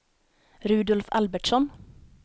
Rudolf Albertsson